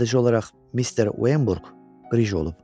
Sadəcə olaraq mister Vemburq qrıj olub.